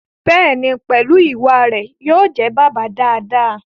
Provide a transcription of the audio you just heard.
Bẹ́ẹ̀ni, pẹ̀lú ìwà rẹ̀, yóò jẹ́ bàbá dáadáa